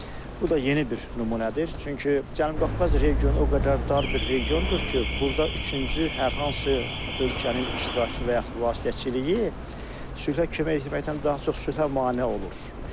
Bu da yeni bir nümunədir, çünki Cənubi Qafqaz regionu o qədər dar bir regiondur ki, burada üçüncü hər hansı ölkənin iştirakı və yaxud vasitəçiliyi sülhə kömək etməkdən daha çox sülhə mane olur.